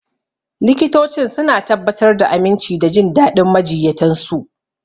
Likitocin suna tabbatar da aminci da jin daɗin majiyyatan su.